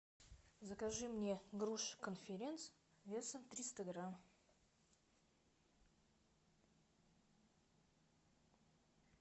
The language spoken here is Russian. закажи мне грушу конференция весом триста грамм